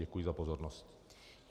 Děkuji za pozornost.